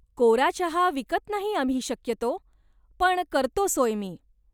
कोरा चहा विकत नाही आम्ही शक्यतो, पण करतो सोय मी.